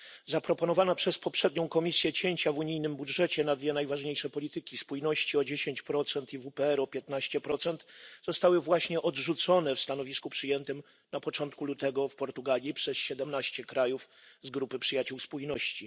Zaproponowane przez poprzednią Komisję cięcia w unijnym budżecie na dwie najważniejsze polityki, spójności o 10 i WPR o 15, zostały właśnie odrzucone w stanowisku przyjętym na początku lutego w Portugalii przez 17 krajów z grupy przyjaciół spójności.